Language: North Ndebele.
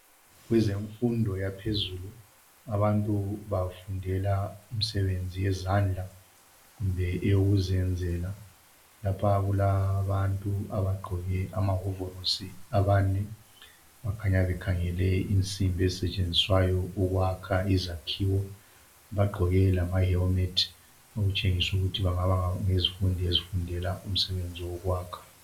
Kwezemfundo yaphezulu abantu bafundela imisebenzi yezandla kumbe eyokuzenzela. Lapha kulabantu abagqoke amawovorosi abane bakhanya bakhangele insimbi ezisetshenziswayo ukwakho izakhiwo, bagqoke lama helmet okutshengisa ukuthi bengaba yizifundi ezifundela umsebenzi wokwakho.